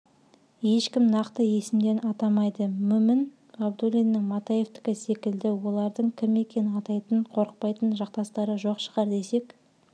ешкім нақты есімдерін атамайды мүмін ғабдуллиннің матаевтікісекілді олардың кім екенін атайтын қорықпайтын жақтастары жоқ шығар десек